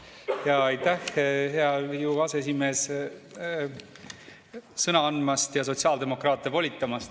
Aitäh, hea Riigikogu aseesimees, sõna andmast ja sotsiaaldemokraatidele volitamast!